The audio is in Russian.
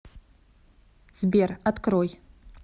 сбер открой